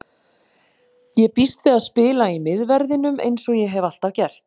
Ég býst við að spila í miðverðinum eins og ég hef alltaf gert.